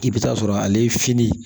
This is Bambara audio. I bɛ taa sɔrɔ ale ye fini